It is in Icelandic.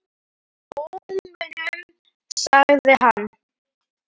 Lómunum sagði hann.